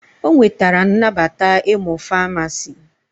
O nwetara nnabata ịmụ Famasi